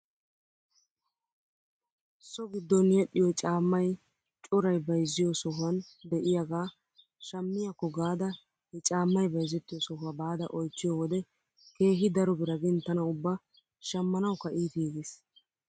So giddon yedhdhiyoo caammay coray bayzziyoo sohuwan de'iyaagaa shamiyaakko gaada he caamay bayzettiyoo sohuwaa baada oychchiyoo wode keehi daro bira gin tana uba shamanawkka iitiigis.